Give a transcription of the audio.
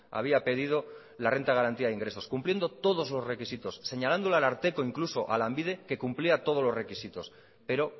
había pedido la renta de garantía de ingresos cumpliendo todos los requisitos señalando al ararteko incluso a lanbide que cumplía todos los requisitos pero